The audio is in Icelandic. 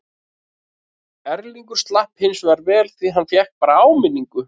Erlingur slapp hinsvegar vel því hann fékk bara áminningu.